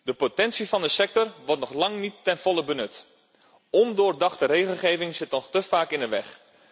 Het potentieel van de sector wordt nog lang niet ten volle benut. Ondoordachte regelgeving zit nog te vaak in de weg.